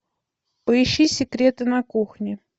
поищи секреты на кухне